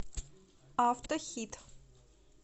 автохит